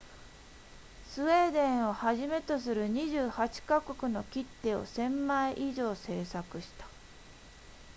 スウェーデンをはじめとする28カ国の切手を 1,000 枚以上制作した